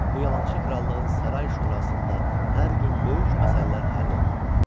Bu yalançı krallığın saray şurasında hər gün böyük məsələlər həll olunurdu.